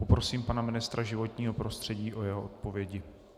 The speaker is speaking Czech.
Poprosím pana ministra životního prostředí o jeho odpovědi.